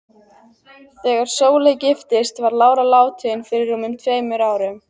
Þegar Sóley giftist var lára látin fyrir rúmum tveimur árum.